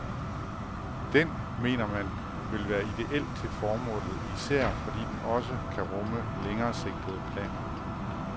Den, mener man, vil være idéel til formålet, især fordi den også kan rumme længeresigtede planer.